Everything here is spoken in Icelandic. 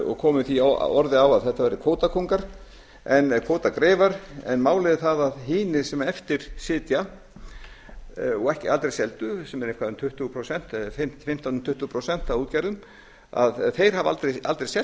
og komu því orði á að þetta væru kvótagreifar en málið er það að hinir sem eftir sitja og aldrei seldu sem eru eitthvað um fimmtán til tuttugu prósent af útgerðum hafa aldrei selt